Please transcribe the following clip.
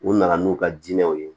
U nana n'u ka diinɛw ye